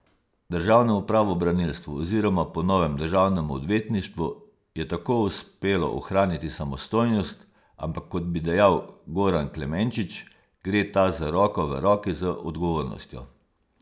Državnemu pravobranilstvu oziroma po novem državnemu odvetništvu je tako uspelo ohraniti samostojnost, ampak, kot bi dejal Goran Klemenčič, gre ta z roko v roki z odgovornostjo.